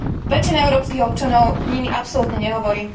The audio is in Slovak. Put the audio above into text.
väčšina európskych občanov nimi absolútne nehovorí.